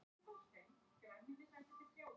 Rósinkrans, Palli Rós.